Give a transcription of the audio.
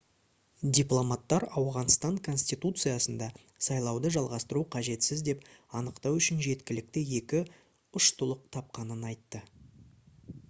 дипломаттар ауғанстан конституциясында сайлауды жалғастыру қажетсіз деп анықтау үшін жеткілікті екі ұштылық тапқанын айтты